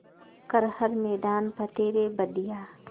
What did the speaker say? कर हर मैदान फ़तेह रे बंदेया